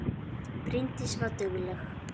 Bryndís var dugleg.